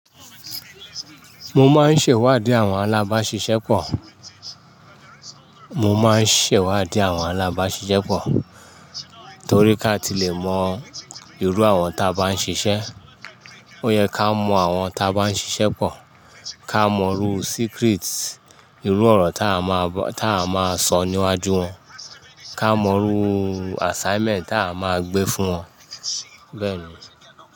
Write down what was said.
Mo máa ń ṣèwádìí àwọn alábáṣiṣẹ́ pọ̀. Mo máa ń ṣèwádìí àwọn alábáṣiṣẹ́ pọ̀ torí ká tí le mọ irú àwọn ta bá ń ṣiṣẹ́. Ó yẹ ká mọ àwọn ta bá ń ṣiṣẹ́ pọ̀, ká mọ irú secret, irú ọ̀rọ̀ ta a máa sọ níwájú wọn, ká mọ irú assignment ta a máa gbé fún wọn bẹ́ẹ̀ni.